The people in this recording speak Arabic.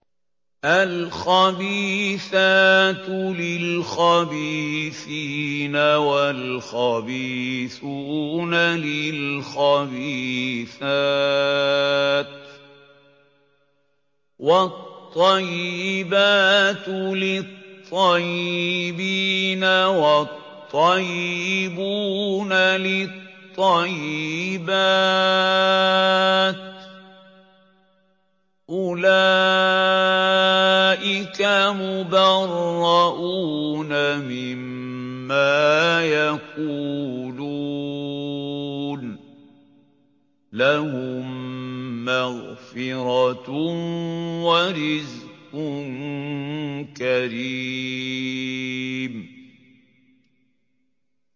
الْخَبِيثَاتُ لِلْخَبِيثِينَ وَالْخَبِيثُونَ لِلْخَبِيثَاتِ ۖ وَالطَّيِّبَاتُ لِلطَّيِّبِينَ وَالطَّيِّبُونَ لِلطَّيِّبَاتِ ۚ أُولَٰئِكَ مُبَرَّءُونَ مِمَّا يَقُولُونَ ۖ لَهُم مَّغْفِرَةٌ وَرِزْقٌ كَرِيمٌ